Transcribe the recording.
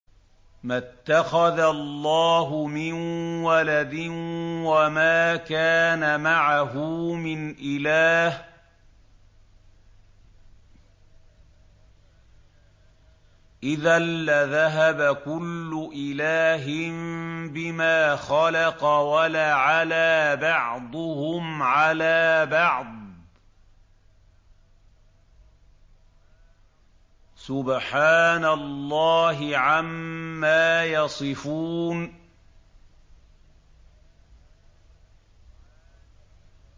مَا اتَّخَذَ اللَّهُ مِن وَلَدٍ وَمَا كَانَ مَعَهُ مِنْ إِلَٰهٍ ۚ إِذًا لَّذَهَبَ كُلُّ إِلَٰهٍ بِمَا خَلَقَ وَلَعَلَا بَعْضُهُمْ عَلَىٰ بَعْضٍ ۚ سُبْحَانَ اللَّهِ عَمَّا يَصِفُونَ